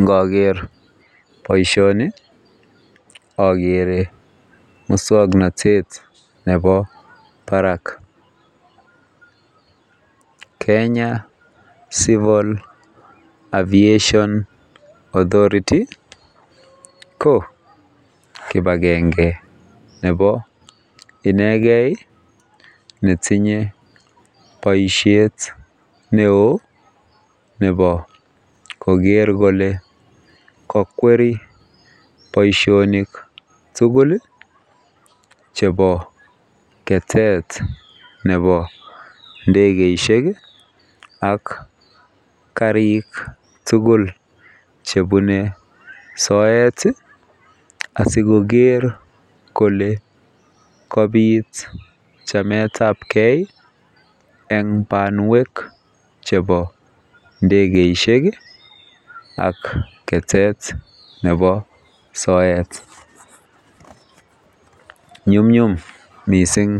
Ngoger boisioni ogere muswoknotet nebo barak [Kenya civil aviation authority] ko kipagenge nebo inegei iih netinye boisiet neo nebo koger kole kogweri boisionik tugul chebo ketet nebo ndegeisiek iih ak karik tugul chebune soet iih asikoger kole kabit chametabge eng banwek chebo ndegeisiek iih ak ketet nebo soet. Nyumnyum mising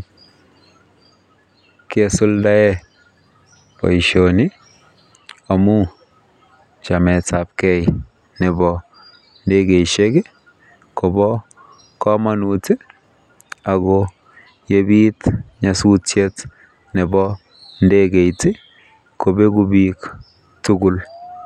kesuldaen boisioni amun chametabge nebo ndegeisiek iih Kobo kamanut iih ago yebit nyasutyet nebo ndegeit iih kobegu bik tugul.